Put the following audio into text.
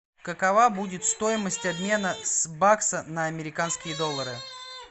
какова будет стоимость обмена с бакса на американские доллары